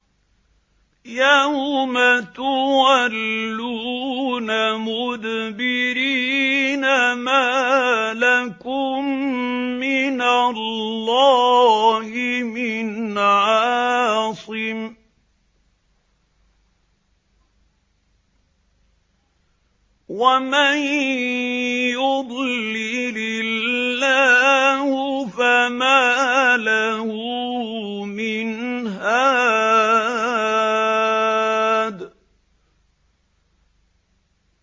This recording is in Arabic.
يَوْمَ تُوَلُّونَ مُدْبِرِينَ مَا لَكُم مِّنَ اللَّهِ مِنْ عَاصِمٍ ۗ وَمَن يُضْلِلِ اللَّهُ فَمَا لَهُ مِنْ هَادٍ